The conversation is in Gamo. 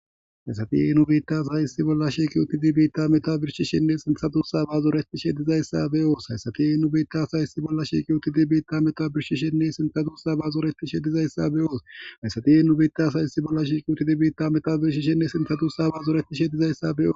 Haysati e biita sayisi bolla shiqiwutidi biitta meta birshishinne sinsadusa baazorettishe dizayssa beoos hayssati eubetasaysi bolla shiqiuti dibiita meta birshishinne sinxadusa baazoretishe dizayssa beyooshayssati eenu bita saysi bolla shiiqiwutidibiitta meta birshishinne sintadu sa baazorettishe dizayssa beo.